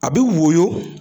A bɛ woyo